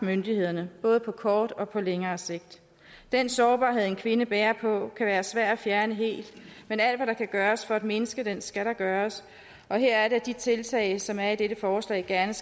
myndighederne både på kortere og længere sigt den sårbarhed en kvinde bærer på kan være svær at fjerne helt men alt hvad der kan gøres for at mindske den skal der gøres og her er det at de tiltag som er i dette forslag gerne